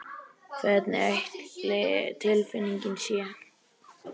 Hvernig ætli tilfinningin sé?